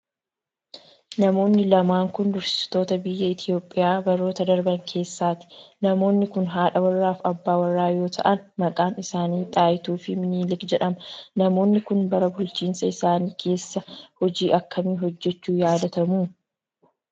Namoonni lamaan kun, dursitoota biyya Itoophiyaa baroota darban keessaati. Namoonni kun haadha warrraa fi abbaa warraa yoo ta'an, maqaan isaanii Xaayituu fi Minilik jedhama. Namoonni kun, bara bulchiinsa isaanii kessa hojii akkamii hojjachuun yaadatamu?